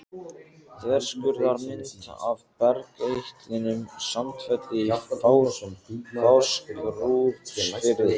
Þverskurðarmynd af bergeitlinum Sandfelli í Fáskrúðsfirði.